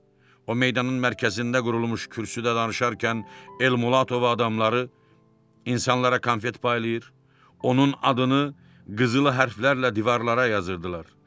O meydanın mərkəzində qurulmuş kürsüdə danışarkən Elmulato və adamları insanlara konfet paylayır, onun adını qızıl hərflərlə divarlara yazırdılar.